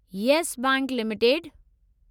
Yes Bank limited